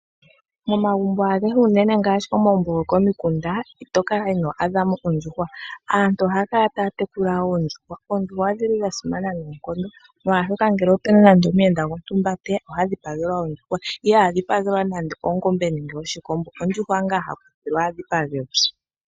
Momagumbo agehe ngaashi unene komagumbo gokomikunda ito kala ino adhamo ondjuhwa, aantu ohaya kala taya tekula oondjuhwa nodhili dha simana noonkondo omolwashoka ngele opu na nande omuyenda gontumba teya oha dhi pagelwa ondjuhwa iha dhi pagelwa nande ongombe nenge oshikombo ashike ondjuhwa owala ha kuthilwa a dhipagelwe.